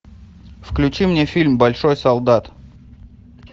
включи мне фильм большой солдат